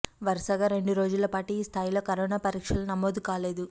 వరుసగా రెండు రోజుల పాటు ఈ స్థాయిలో కరోనా పరీక్షలు నమోదు కాలేదు